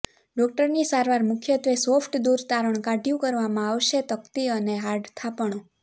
ડોક્ટરની સારવાર મુખ્યત્વે સોફ્ટ દૂર તારણ કાઢ્યું કરવામાં આવશે તકતી અને હાર્ડ થાપણો